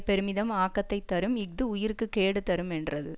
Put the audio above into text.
பெருமிதம் ஆக்கத்தைத்தரும் இஃது உயிர்க்கு கேடு தருமென்றது